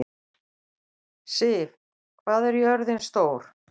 Siv, hvað er jörðin stór?